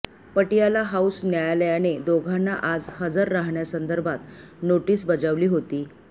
Patiala house न्यायालयाने दोघांना आज हजर राहण्यासंदर्भात नोटीस बजावली होती